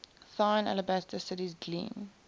thine alabaster cities gleam